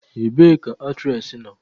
Ebee ka aktres nọ?